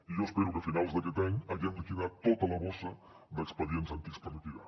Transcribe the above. i jo espero que a finals d’aquest any haguem liquidat tota la borsa d’expedients antics per liquidar